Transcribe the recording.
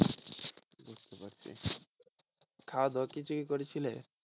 খাওয়া দাওয়া কি কিছু করেছিলে?